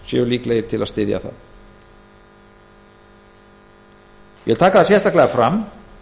séu líklegir til að styðja það ég vil taka það sérstaklega fram